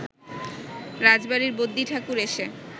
রাজবাড়ির বদ্যিঠাকুর এসে